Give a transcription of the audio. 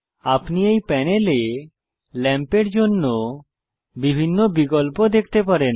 আপনি এই প্যানেলে লাম্পের জন্য বিকল্প দেখতে পারেন